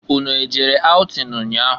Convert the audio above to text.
Unu ejere aụtịn nnya ahụ?